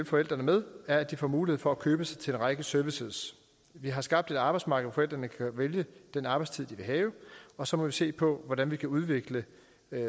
forældrene med er at de får mulighed for at købe sig til en række services vi har skabt et arbejdsmarked hvor forældrene kan vælge den arbejdstid de vil have og så må vi se på hvordan vi kan udvikle